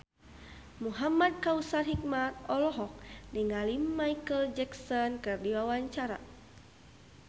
Muhamad Kautsar Hikmat olohok ningali Micheal Jackson keur diwawancara